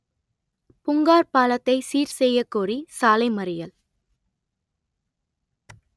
புங்கார் பாலத்தை சீர்செய்யகோரி சாலை மறியல்